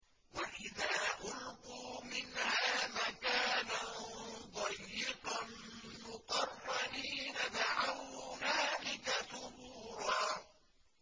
وَإِذَا أُلْقُوا مِنْهَا مَكَانًا ضَيِّقًا مُّقَرَّنِينَ دَعَوْا هُنَالِكَ ثُبُورًا